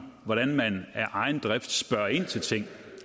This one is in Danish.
hvordan man af egen drift spørger ind til tingene